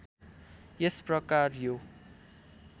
यस प्रकार यो